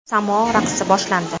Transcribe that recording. Samo raqsi boshlandi.